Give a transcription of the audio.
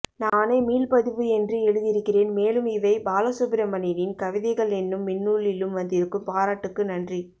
நானே மீள்பதிவு என்று எழுதி இருக்கிறேன் மேலும் இவை பாலசுப்பிரமணியனின் கவிதைகளென்னும் மின்னூலிலும் வந்திருக்கும் பாராட்டுக்கு நன்றி